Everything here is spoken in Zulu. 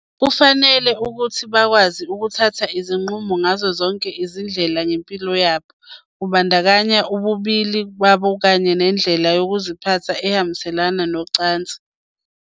Kufanele ukuthi bakwazi ukuthatha izinqumo ngazo zonke izindlela ngempilo yabo, kubandakanya ububili babo kanye nendlela yokuziphatha ehambiselana nezocansi.